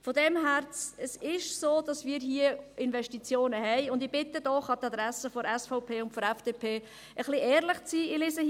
Insofern ist es so, dass wir Investitionen haben, und ich bitte doch – an die Adresse der SVP und der FDP – ein wenig ehrlich zu sein.